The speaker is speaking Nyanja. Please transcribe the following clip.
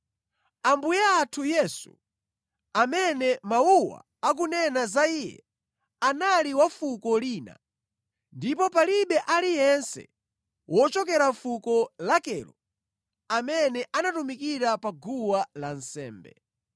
Ambuye athu Yesu, amene mawuwa akunena za Iye, anali wa fuko lina, ndipo palibe aliyense wochokera fuko lakelo amene anatumikira pa guwa lansembe.